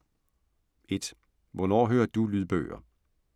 1) Hvornår hører du lydbøger?